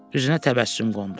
Üzünə təbəssüm qondu.